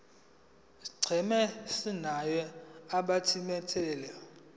scheme somunye wabathintekayo